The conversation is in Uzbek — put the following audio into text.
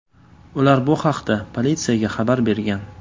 Ular bu haqda politsiyaga xabar bergan.